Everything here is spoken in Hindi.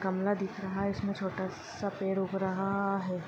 गमला दिख रहा है इसमें छोटा सा पेड़ उग रहा है।